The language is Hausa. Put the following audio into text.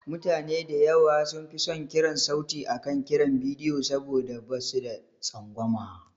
Mutane da yawa sun fi son kiran sauti akan kiran bidiyo saboda ba su da tsangwama.